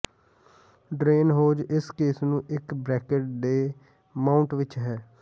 drain hose ਇਸ case ਨੂੰ ਇੱਕ ਬਰੈਕਟ ਤੇ ਮਾਊਟ ਵਿੱਚ ਹੈ